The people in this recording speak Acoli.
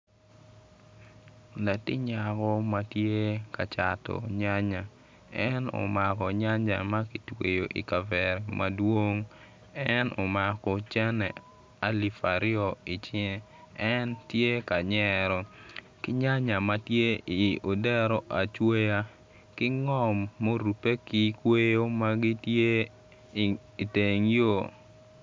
Latin anyaka ma tye ka cato nyanya. En omako nyanya me ada ma kitweyo i kavera madwong en omako cene alip aryo i cinge en tye ka nyero ki nyanya ma tye i odero acweya ki ngom murubbe ki kweyo ma gitye i teng yo.